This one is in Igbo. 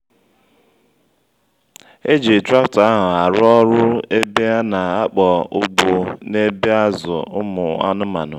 e ji traktọ ahụ aru ọ́rụ́ ebe ana-akpọ ugbo n'ebe azụ ụmụ anụmanụ